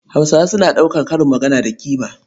Hausawa suna ɗaukar karin magana da ƙima.